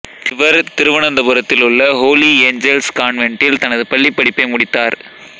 இவர் திருவனந்தபுரத்தில் உள்ள ஹோலி ஏஞ்சல்ஸ் கான்வென்ட்டில் தனது பள்ளிப்படிப்பை முடித்தார்